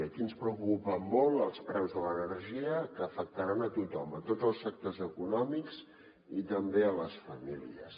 aquí ens preocupen molt els preus de l’energia que afectaran a tothom tots els sectors econòmics i també les famílies